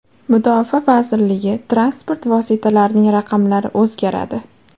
Mudofaa vazirligi transport vositalarining raqamlari o‘zgaradi.